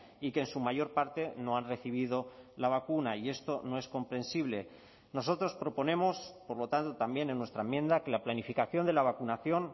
y que en su mayor parte no han recibido la vacuna y esto no es comprensible nosotros proponemos por lo tanto también en nuestra enmienda que la planificación de la vacunación